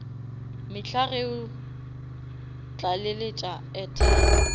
mehla ge o tlaleletša airtime